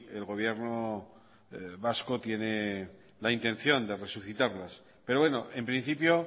el gobierno vaco tiene la intención de resucitarlas pero bueno en principio